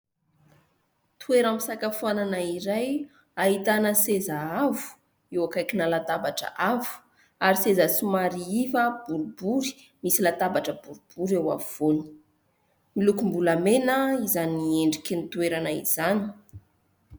Toeram-pisakafoanana iray ahitana seza avo eo akaikina latabatra avo ary seza somary iva borobory, misy latabatra borobory eo afovoany. Milokom-bolamena izany endriky ny toerana izany.